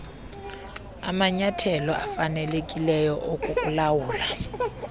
amanyathelo afanelekileyo okukulawula